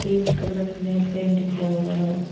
Green colour में paint किया हुआ है।